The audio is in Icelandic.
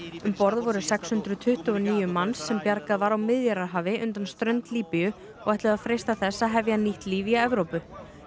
um borð voru sex hundruð tuttugu og níu manns sem bjargað var á Miðjarðarhafi undan strönd Líbíu og ætluðu að freista þess að hefja nýtt líf í Evrópu